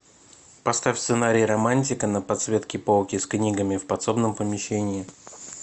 поставь сценарий романтика на подсветке полки с книгами в подсобном помещении